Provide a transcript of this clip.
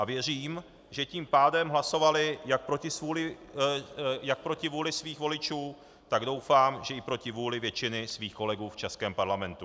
A věřím, že tím pádem hlasovali jak proti vůli svých voličů, tak doufám, že i proti vůli většiny svých kolegů v českém parlamentu.